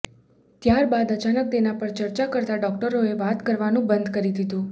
ત્યાર બાદ અચાનક તેના પર ચર્ચા કરતા ડોક્ટોરોએ વાત કરવાનું બંધ કરી દીધું